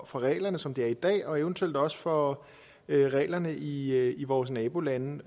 for reglerne som de er i dag og eventuelt også for reglerne i i vores nabolande